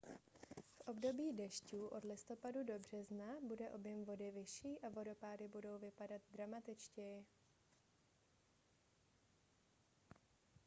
v období dešťů od listopadu do března bude objem vody vyšší a vodopády budou vypadat dramatičtěji